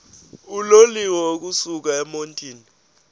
uloliwe ukusuk emontini